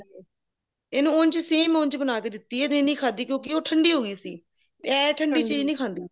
ਇਹਨੂੰ ਉੰਝ same ਉੰਝ ਬਣਾ ਕੇ ਦਿਤੀਆ ਤੇ ਨਹੀਂ ਖਾਦੀ ਕਿਉਂਕਿ ਉਹ ਠੰਡੀ ਹੋ ਗਈ ਸੀ ਇਹ ਠੰਡੀ ਚੀਜ ਨਹੀਂ ਖਾਂਦੀ